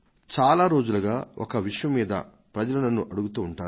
చాలా రోజులుగా ఒక విషయం మీద ప్రజలు నన్ను అడుగుతూ వస్తున్నారు